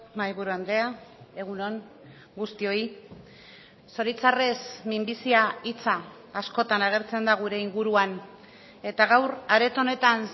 mahaiburu andrea egun on guztioi zoritzarrez minbizia hitza askotan agertzen da gure inguruan eta gaur areto honetan